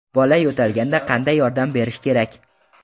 Bola yo‘talganda qanday yordam berish kerak?.